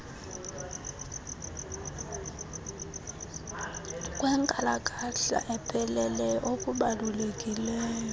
kwenkalakahla epheleleyo okubalulekileyo